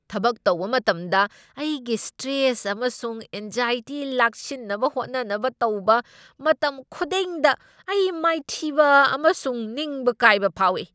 ꯊꯕꯛ ꯇꯧꯕ ꯃꯇꯝꯗ ꯑꯩꯒꯤ ꯁ꯭ꯇ꯭ꯔꯦꯁ ꯑꯃꯁꯨꯡ ꯑꯦꯡꯁꯥꯏꯇꯤ ꯂꯥꯛꯁꯤꯟꯅꯕ ꯍꯣꯠꯅꯅꯕ ꯇꯧꯕ ꯃꯇꯝꯈꯨꯗꯤꯡꯗ ꯑꯩ ꯃꯥꯏꯊꯤꯕ ꯑꯃꯁꯨꯡ ꯅꯤꯡꯕ ꯀꯥꯏꯕ ꯐꯥꯎꯏ ꯫